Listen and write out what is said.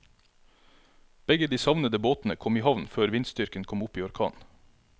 Begge de savnede båtene kom i havn før vindstyrken kom opp i orkan.